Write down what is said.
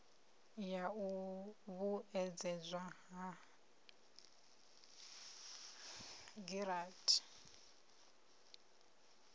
ya u vhuedzedzwa ha giranthi